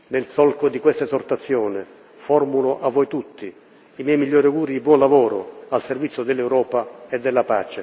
Nel solco di questa esortazione, formulo a voi tutti i miei migliori auguri di buon lavoro al servizio dell'Europa e della